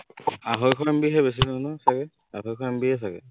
আঢ়ৈশ MB হে বেছি নহয় নহয় চাগে, আঢ়ৈশ MB য়ে চাগে